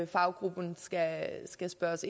faggruppen skal spørge